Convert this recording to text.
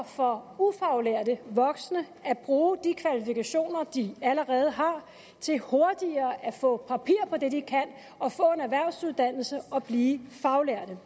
for ufaglærte voksne at bruge de kvalifikationer de allerede har til hurtigere at få papir på det de kan og få en erhvervsuddannelse og blive faglærte